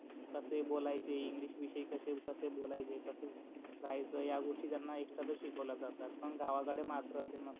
कसे बोलायचे इंग्लिश विषय कस बोलायच कस रहायच हाय गोष्टी त्यांना एक्स्ट्रा तच शिकवल्या जातात पण गावा कडे मात्र अस नसते.